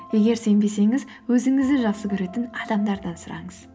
егер сенбесеңіз өзіңізді жақсы көретін адамдардан сұраңыз